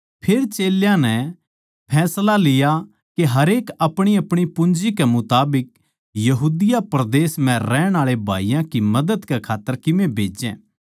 फेर चेल्यां नै फैसला लिया के हरेक अपणीअपणी पूंजी कै मुताबिक यहूदा परदेस म्ह रहण आळे भाईयाँ की मदद कै खात्तर कीमे भेजै